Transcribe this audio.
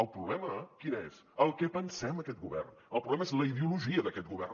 el problema quin és el que pensem aquest govern el problema és la ideologia d’aquest govern